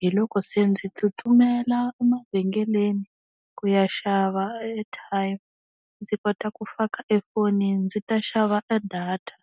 hi loko se ndzi tsutsumela emavhengeleni ku ya xava airtime ndzi kota ku faka efonini ndzi ta xava data.